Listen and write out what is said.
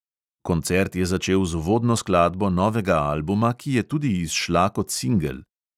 Koncert je začel z uvodno skladbo novega albuma, ki je tudi izšla kot singel.